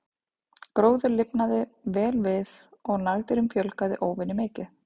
Gróður lifnaði vel við og nagdýrum fjölgaði óvenju mikið.